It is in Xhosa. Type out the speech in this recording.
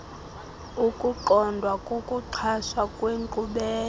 ukuqondwa kokuxhaswa kwenkqubela